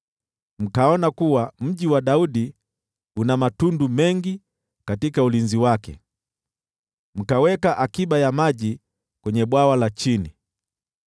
mkaona kuwa Mji wa Daudi una matundu mengi katika ulinzi wake, mkaweka akiba ya maji kwenye Bwawa la Chini.